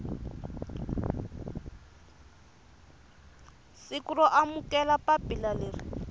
siku ro amukela papila leri